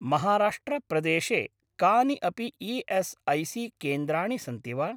महाराष्ट्र प्रदेशे कानि अपि ई.एस्.ऐ.सी.केन्द्राणि सन्ति वा?